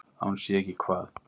Að hún sé ekki hvað?